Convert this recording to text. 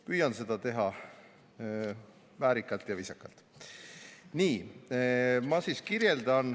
Püüan seda teha väärikalt ja viisakalt.